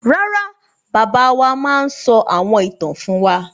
Rárá, bàbá wa máa ń sọ àwọn ìtàn fún wa.